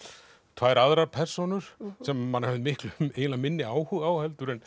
tvær aðrar persónur sem maður hefur miklu eiginlega minni áhuga á en